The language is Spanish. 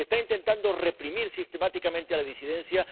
Se está intentando reprimir sistemáticamente a la disidencia.